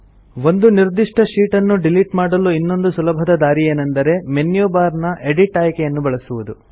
ಒಂದು ನಿರ್ದಿಷ್ಟ ಶೀಟ್ ನ್ನು ಡಿಲಿಟ್ ಮಾಡಲು ಇನ್ನೊಂದು ಸುಲಭದ ದಾರಿಯೆಂದರೆ ಮೆನ್ಯು ಬಾರ್ ನ ಎಡಿಟ್ ಆಯ್ಕೆಯನ್ನು ಬಳಸುವುದು